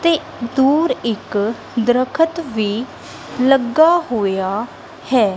ਤੇ ਦੂਰ ਇੱਕ ਦਰਖ਼ਤ ਵੀ ਲੱਗਾ ਹੋਇਆ ਹੈ।